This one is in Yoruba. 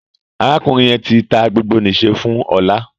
Arákùnrin yén tí tá gbogbo n'iṣẹ fún Ola